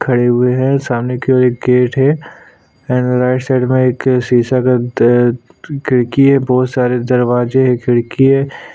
खड़ी हुई है सामने की और एक गेट है और राइट साइड में एक द अ शीशा का खिड़की है बहुत सारे दरवाजे और खिड़की है।